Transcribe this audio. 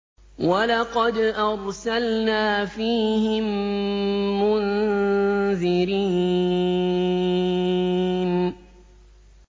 وَلَقَدْ أَرْسَلْنَا فِيهِم مُّنذِرِينَ